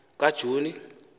kajuni